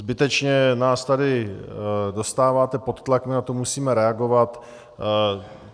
Zbytečně nás tady dostáváte pod tlak, my na to musíme reagovat.